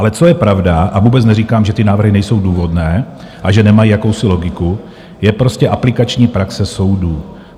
Ale co je pravda a vůbec neříkám, že ty návrhy nejsou důvodné a že nemají jakousi logiku, je prostě aplikační praxe soudů.